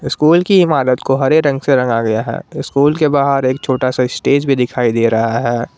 School की इमारत को हरे रंग से रंगा आ गया है स्कूल के बाहर एक छोटा सा स्टेज भी दिखाई दे रहा है।